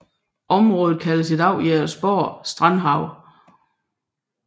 Området kaldes i dag Jægersborg Strandhave